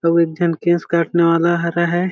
अउ एक झन केश काटने वाला हरा है।